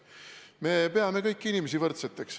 Me peame kõiki inimesi võrdseteks.